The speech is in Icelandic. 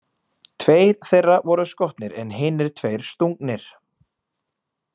Tveir þeirra voru skotnir en hinir tveir stungnir.